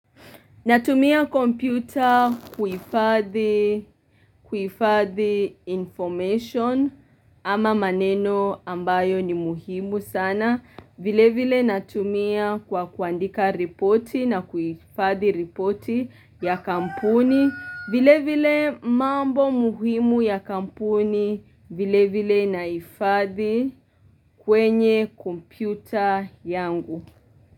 Natumia kompyuta kuhifadhi information ama maneno ambayo ni muhimu sana. Vilevile natumia kwa kuandika ripoti na kuhifadhi ripoti ya kampuni. Vile vile mambo muhimu ya kampuni vile vile naifadhi kwenye kompyuta yangu.